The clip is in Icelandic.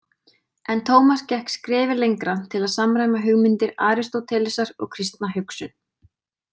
En Tómas gekk skrefi lengra til að samræma hugmyndir Aristótelesar og kristna hugsun.